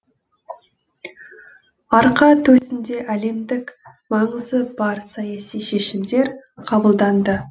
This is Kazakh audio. арқа төсінде әлемдік маңызы бар саяси шешімдер қабылданды